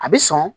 A bɛ sɔn